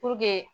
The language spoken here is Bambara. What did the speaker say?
Puruke